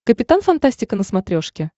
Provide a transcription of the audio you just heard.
капитан фантастика на смотрешке